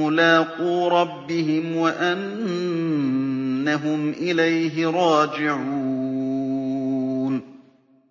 مُّلَاقُو رَبِّهِمْ وَأَنَّهُمْ إِلَيْهِ رَاجِعُونَ